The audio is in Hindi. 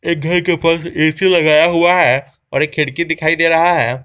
घर के ऊपर ए_सी लगाया हुआ है और एक खिड़की दिखाई दे रहा है।